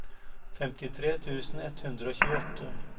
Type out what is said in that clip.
femtitre tusen ett hundre og tjueåtte